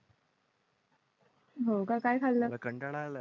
हो का काय? खाला कंटाळा आलाय